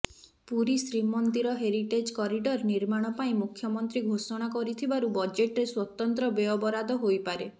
ପୁରୀ ଶ୍ରୀମନ୍ଦିର heritage corridor ନିର୍ମାଣ ପାଇଁ ମୁଖ୍ୟମନ୍ତ୍ରୀ ଘୋଷଣା କରିଥିବାରୁ ବଜେଟ୍ରେ ସ୍ୱତନ୍ତ୍ର ବ୍ୟୟବରାଦ ହୋଇପାରେ